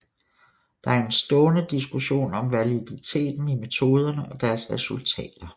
Der er en stående diskussion om validiteten i metoderne og deres resultater